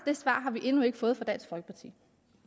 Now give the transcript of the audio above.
svar har vi endnu ikke fået fra dansk folkeparti